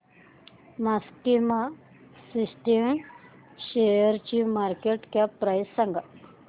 maxima Systems शेअरची market cap price सांगा